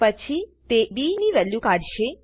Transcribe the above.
પછી તે બી ની વેલ્યુ કાઢશે